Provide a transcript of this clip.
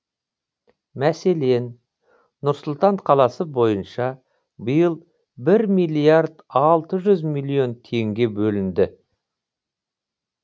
мәселен нұр сұлтан қаласы бойынша биыл бір миллиард алты жүз миллион теңге бөлінді